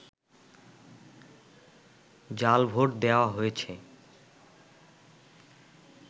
জাল ভোট দেয়া হয়েছে